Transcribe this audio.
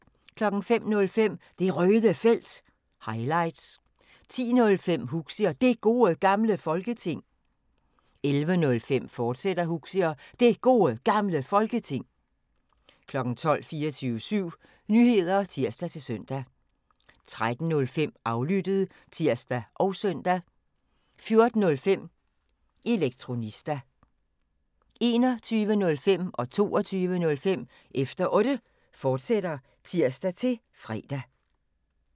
05:05: Det Røde Felt – highlights 10:05: Huxi og Det Gode Gamle Folketing 11:05: Huxi og Det Gode Gamle Folketing, fortsat 12:00: 24syv Nyheder (tir-søn) 13:05: Aflyttet (tir og søn) 14:05: Elektronista 21:05: Efter Otte, fortsat (tir-fre) 22:05: Efter Otte, fortsat (tir-fre)